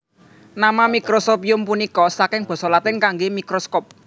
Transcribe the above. Nama Microscopium punika saking basa Latin kanggé microscope